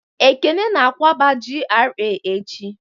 Ekene na-akwaba GRA echi